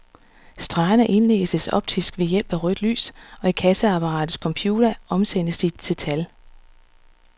Stregerne indlæses optisk ved hjælp af rødt lys, og i kasseapparatets computer omsættes de til tal.